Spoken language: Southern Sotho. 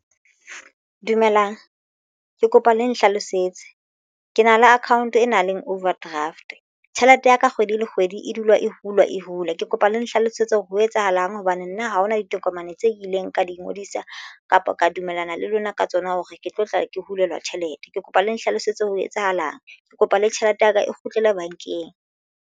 Dumelang ke kopa le nhlalosetse ke na le account e nang le overdraft tjhelete ya ka kgwedi le kgwedi e dula e hula e hula, ke kopa le Nhlalosetse hore ho etsahalang hang hobane nna ha hona ditokomane tse ileng ka di ingodisa kapa ka dumellana le lona ka tsona hore ke tlo tla ke hulelwa tjhelete. Ke kopa le nhlalosetse ho etsahalang ke kopa le tjhelete ya ka e kgutlele bankeng.